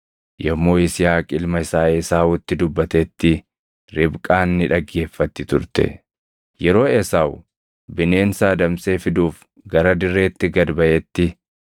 Yommuu Yisihaaq ilma isaa Esaawutti dubbatetti Ribqaan ni dhaggeeffatti turte. Yeroo Esaawu bineensa adamsee fiduuf gara dirreetti gad baʼetti,